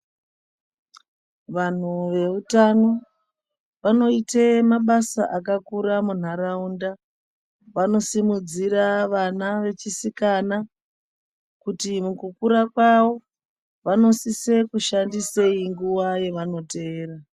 Vanhu veutano vanoite mabasa akakura munharaunda. Vanosimudzira vana vechisikana, kuti mukukura kwawo, vanosisa kushandisei nguwa yavanoteera.